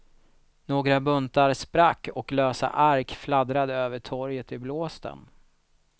Några buntar sprack och lösa ark fladdrade över torget i blåsten.